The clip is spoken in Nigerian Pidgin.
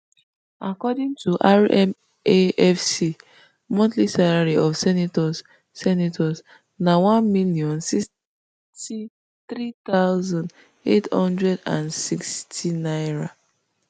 according to rmafc monthly salary of senators senators na one million, six sixty-three thousand, eight hundred and sixty naira